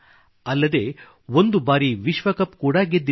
ಅಲ್ಲದೇ ಒಂದು ಬಾರಿ ವಿಶ್ವಕಪ್ ಕೂಡಾ ಗೆದ್ದಿದೆ